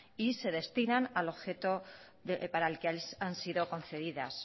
y se destinan al objeto para el que han sido concedidas